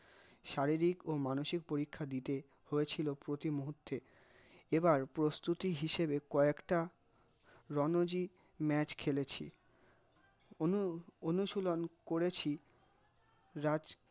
শারীরিক ও মানসিক পরীক্ষা দিতে হয়েছিল প্রতি মুহূর্তে, এবার প্রস্তুতি হিসেবে কয়েকটা রনজি match খেলেছি অনু-অনুসুধন করেছি রাজ